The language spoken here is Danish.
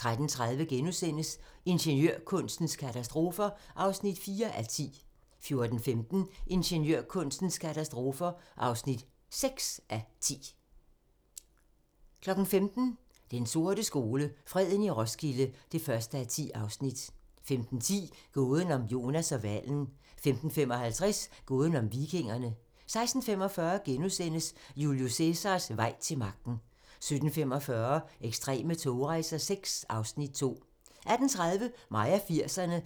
13:30: Ingeniørkunstens katastrofer (4:10)* 14:15: Ingeniørkunstens katastrofer (6:10) 15:00: Den sorte skole: Freden i Roskilde (1:10) 15:10: Gåden om Jonas og hvalen 15:55: Gåden om vikingerne 16:45: Julius Cæsars vej til magten * 17:45: Ekstreme togrejser VI (Afs. 2) 18:30: Mig og 80'erne